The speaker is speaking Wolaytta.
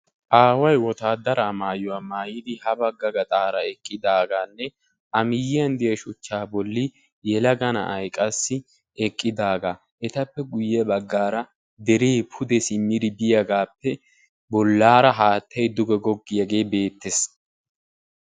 Aaway wotaaddaraa maayuwa maayidi ha bagga gaxaara eqqidaagaanne a miyyiyan diya shuchchaa bolli yelaga na'ayi qassi eqqidaagaa. Etappe baggaara deree guyye simmidi diyagaappe bollaara haattayi duge goggiyagee beettes.